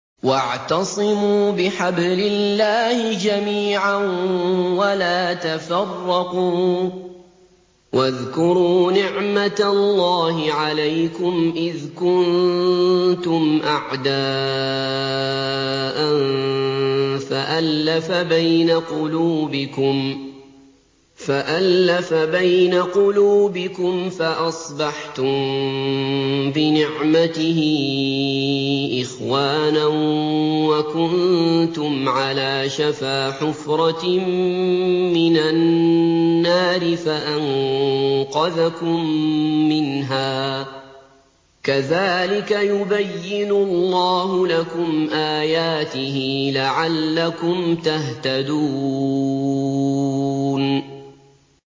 وَاعْتَصِمُوا بِحَبْلِ اللَّهِ جَمِيعًا وَلَا تَفَرَّقُوا ۚ وَاذْكُرُوا نِعْمَتَ اللَّهِ عَلَيْكُمْ إِذْ كُنتُمْ أَعْدَاءً فَأَلَّفَ بَيْنَ قُلُوبِكُمْ فَأَصْبَحْتُم بِنِعْمَتِهِ إِخْوَانًا وَكُنتُمْ عَلَىٰ شَفَا حُفْرَةٍ مِّنَ النَّارِ فَأَنقَذَكُم مِّنْهَا ۗ كَذَٰلِكَ يُبَيِّنُ اللَّهُ لَكُمْ آيَاتِهِ لَعَلَّكُمْ تَهْتَدُونَ